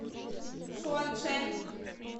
шуанчэн